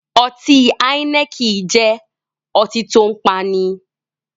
Ọtí Heineken jẹ́ ọtí tòun paani.